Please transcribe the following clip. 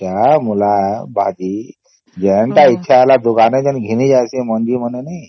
ହଁ ଏଇଟା ମୂଳା ଭାଜି ଜୋନଟା ଇଚ୍ଛା ହେଲା ଦୋକାନ କେ ଘିନି ଯାଉଛେ ମଞ୍ଜି ମାନେ ନାଇଁ